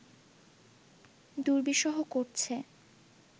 দুর্বিষহ করছে